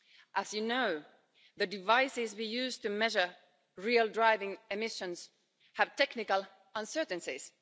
As you know, the devices we use to measure real driving emissions have technical uncertainties.